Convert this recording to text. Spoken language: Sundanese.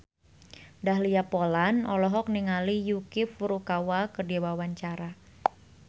Dahlia Poland olohok ningali Yuki Furukawa keur diwawancara